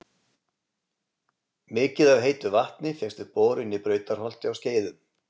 Mikið af heitu vatni fékkst við borun í Brautarholti á Skeiðum.